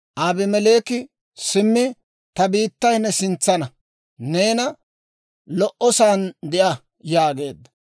Abimeleeki, «Simmi ta biittay ne sintsaana; neena lo"osan de'a» yaageedda.